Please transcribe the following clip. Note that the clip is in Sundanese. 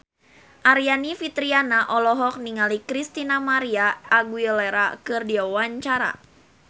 Aryani Fitriana olohok ningali Christina María Aguilera keur diwawancara